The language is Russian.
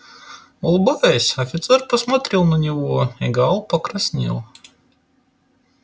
улыбаясь офицер посмотрел на него и гаал покраснел